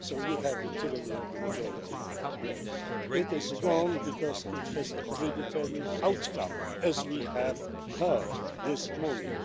So you have the tyranny of the majority again. It is wrong because it has a predetermined outcome as we have heard this morning.